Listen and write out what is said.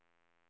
scanna